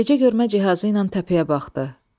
Gecə görmə cihazı ilə təpəyə baxdı.